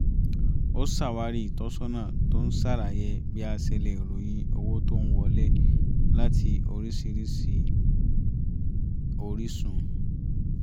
ó ṣàwárí ìtọ́sọ́nà tó ń ṣàlàyé bí a ṣe lè ròyìn owó tó ń wọlé láti oríṣiríṣi orísun